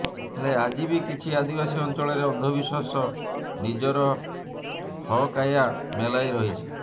ହେଲେ ଆଜି ବି କିଛି ଆଦିବାସୀ ଅଞ୍ଚଳରେ ଅନ୍ଧବିଶ୍ୱାସ ନିଜରହକାୟା ମେଲାଇ ରହିଛି